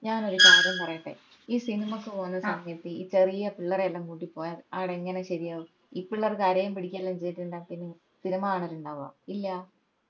ഞാൻ ഒരു കാര്യം പറയട്ടെ ഈ സിനിമക്ക് പോവ്വുന്ന സമയത് ഈ ചെറിയ പിള്ളേരെയെല്ലാം കൂട്ടി പോയാൽ ആട എങ്ങനെ ശെരിയാവും ഈ പിള്ളേർ കരയേം പിടിക്കുകേം എല്ലാം ചെയ്‌തെറ്റിണ്ടേൽ പിന്ന എന്താ സിനിമ കാണൽ ഇണ്ടാവുവാ ഇല്ലാ